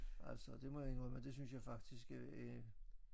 Altså det må jeg indrømme det synes jeg faktisk øh er